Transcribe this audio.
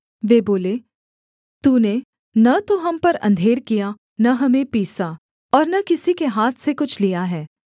वे बोले तूने न तो हम पर अंधेर किया न हमें पीसा और न किसी के हाथ से कुछ लिया है